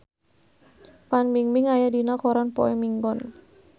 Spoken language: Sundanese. Fan Bingbing aya dina koran poe Minggon